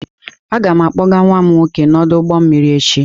Aga m akpọga nwa m nwoke n'ọdụ ụgbọ mmiri echi.